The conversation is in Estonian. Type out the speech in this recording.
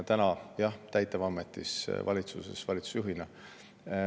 Täna, jah, olen täitevametis, valitsuses valitsusjuhina.